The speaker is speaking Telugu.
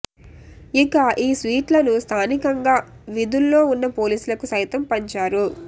ఇక ఈ స్వీట్లను స్థానికంగా విధుల్లో ఉన్న పోలీసులకు సైతం పంచారు